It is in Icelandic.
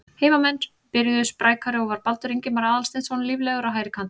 Heimamenn byrjuðu sprækari og var Baldur Ingimar Aðalsteinsson líflegur á hægri kantinum.